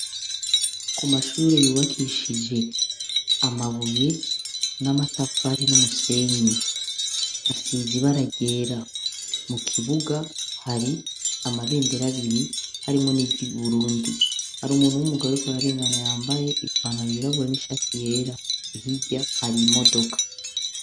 Ku mashure yubakishije amabuye n'amatafari n'umusenyi asize ibara ryera mu kibuga hari amabendera abiri harimwo n'ig burundi hari umuntu w'umugareko araringana yambaye ipanaro yirabura n'ishati yera hirya hari imodoka.